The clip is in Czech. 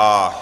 A